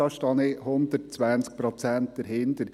Da stehe ich zu 120 Prozent dahinter.